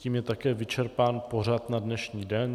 Tím je také vyčerpán pořad na dnešní den.